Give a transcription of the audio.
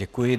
Děkuji.